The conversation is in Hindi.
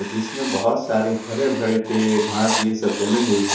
जिसमें बहुत सारे हरे भरे पेड़ घास ये सब जमे हुए हैं।